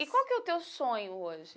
E qual que é o teu sonho hoje?